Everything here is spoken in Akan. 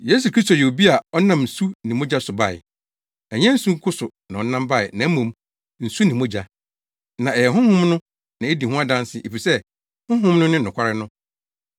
Yesu Kristo yɛ obi a ɔnam nsu ne mogya so bae. Ɛnyɛ nsu nko so na ɔnam bae na mmom, nsu ne mogya. Na ɛyɛ Honhom no na edi ho adanse efisɛ Honhom no ne nokware no.